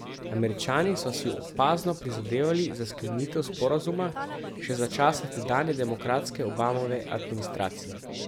Američani so si opazno prizadevali za sklenitev sporazuma še za časa tedanje demokratske Obamove administracije.